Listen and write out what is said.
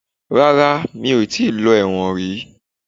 Rárá, mi ò tí lọ ẹ̀wọ̀n rí